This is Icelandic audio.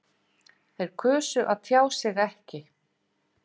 Þau kusu að tjá sig ekki